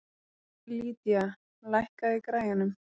Lydia, lækkaðu í græjunum.